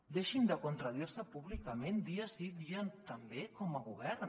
deixin de contradir se públicament dia sí dia també com a govern